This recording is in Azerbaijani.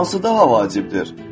Hansı daha vacibdir?